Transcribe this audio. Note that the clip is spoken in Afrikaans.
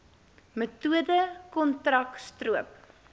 metode kontrak stroop